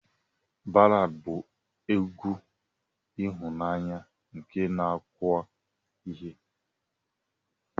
Ballad bu egwu ihụnanya nke na akọwa ihe.